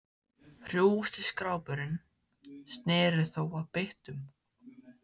Hrjúfasti skrápurinn sneri þó að byttunum.